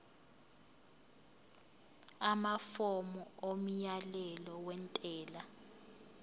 amafomu omyalelo wentela